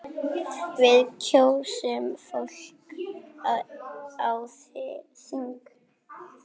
Við kjósum fólk á þing.